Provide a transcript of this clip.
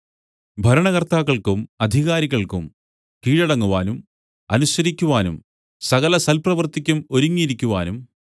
ഭരണകർത്താക്കൾക്കും അധികാരികൾക്കും കീഴടങ്ങുവാനും അനുസരിക്കുവാനും സകലസൽപ്രവൃത്തിക്കും ഒരുങ്ങിയിരിക്കുവാനും